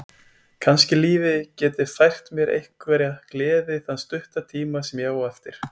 Kannski lífið geti fært mér einhverja gleði þann stutta tíma sem ég á eftir.